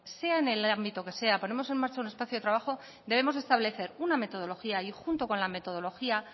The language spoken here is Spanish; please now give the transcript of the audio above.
sea en el ámbito que sea debemos de establecer una metodología y junto con la metodología